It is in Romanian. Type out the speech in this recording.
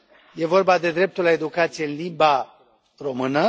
E vorba de dreptul la educație în limba română.